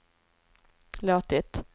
låtit